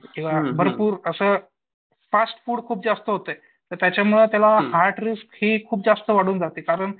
किंवा भरपूर असं फास्ट फूड खूप जास्त होतंय त्याच्यामुळं त्याला हार्ट ही खूप जास्त वाढून जाते कारण